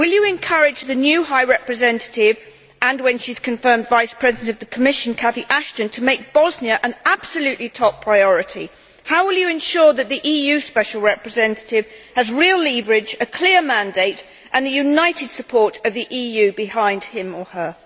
Will you encourage the new High Representative and, when she is confirmed, Vice President of the Commission, Cathy Ashton, to make Bosnia an absolutely top priority? How will you ensure that the EU's special representative has real leverage, a clear mandate and the united support of the EU behind him or her?